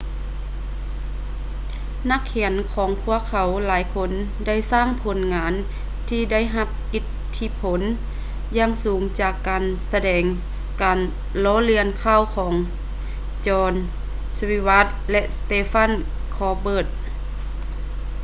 ນັກຂຽນຂອງພວກເຂົາຫຼາຍຄົນໄດ້ສ້າງຜົນງານທີ່ໄດ້ຮັບອິດທິພົນຢ່າງສູງຈາກການສະແດງການລໍ້ລຽນຂ່າວ ຂອງ jon stewart ແລະ stephen colbert